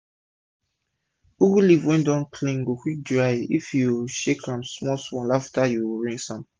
ugu leaf wey u don clean go quick dry if u shake am small small after u rinse am